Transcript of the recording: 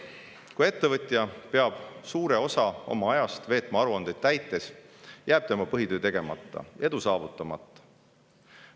Kui ettevõtja peab suure osa oma ajast veetma aruandeid täites, jääb tema põhitöö tegemata ja edu saavutamata.